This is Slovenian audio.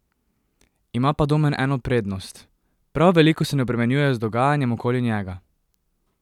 Ima pa Domen eno prednost: "Prav veliko se ne obremenjuje z dogajanjem okoli njega.